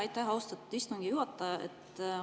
Aitäh, austatud istungi juhataja!